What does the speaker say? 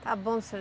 Tá bom, seu